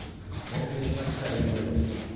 Vamos investir na pizzaria.